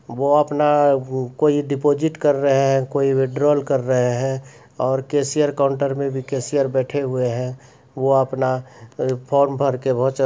वो अपना कोई डिपॉजिट कर रहे हैं कोई विड्रॉल कर रहे हैं और कैशियर काउंटर में भी कैशियर बैठे हुए हैं वो अपना फॉर्म भर के बहुत--